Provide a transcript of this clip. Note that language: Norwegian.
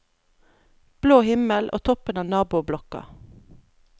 Blå himmel og toppen av naboblokka.